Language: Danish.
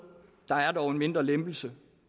der er dog en mindre lempelse